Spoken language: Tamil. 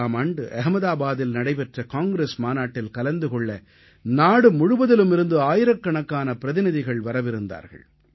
1921ஆம் ஆண்டு அஹ்மதாபாதில் நடைபெற்ற காங்கிரஸ் மாநாட்டில் கலந்து கொள்ள நாடுமுழுவதிலும் இருந்து ஆயிரக்கணக்கான பிரதிநிதிகள் வரவிருந்தார்கள்